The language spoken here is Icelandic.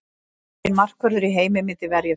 Enginn markvörður í heimi myndi verja þetta.